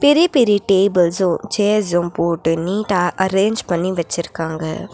பெரிய பெரிய tables chairs போட்டு நீட்டா அரேஞ்ச் பண்ணி வெச்சுருக்காங்க.